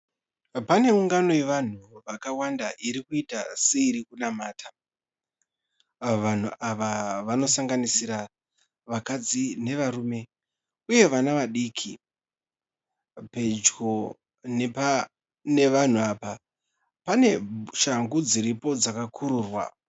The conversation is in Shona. Pane ungano yevanhu vakawanda irikuita seirikunamata. Vanhu ava vanosanganisira vakadzi nevarume uye vana vadiki. Pedyo nevanhu apa pane shangu dziripo dzakakururwa.